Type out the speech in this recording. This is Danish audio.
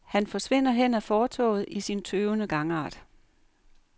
Han forsvinder hen ad fortovet i sin tøvende gangart.